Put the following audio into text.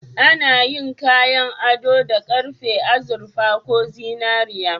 Ana yin kayan ado da karfe, azurfa ko zinariya.